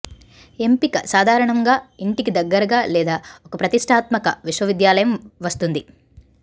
ఎంపిక సాధారణంగా ఇంటికి దగ్గరగా లేదా ఒక ప్రతిష్టాత్మక విశ్వవిద్యాలయం వస్తుంది